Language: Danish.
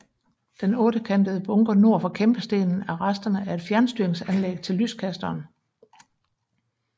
Den ottekantede bunker nord for kæmpestenen er resterne af et fjernstyringsanlæg til lyskasteren